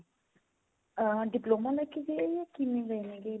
diploma ਲੈ ਕੇ ਗਏ ਆ ਜਾ ਕਿਵੇਂ ਗਏ ਨੇਗੇ